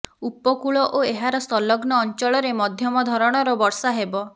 ଉପକୂଳ ଓ ଏହାର ସଂଲଗ୍ନ ଅଂଚଳରେ ମଧ୍ୟମ ଧରଣର ବର୍ଷା ହେବ